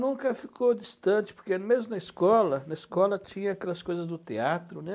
Nunca ficou distante, porque mesmo na escola, na escola tinha aquelas coisas do teatro, né?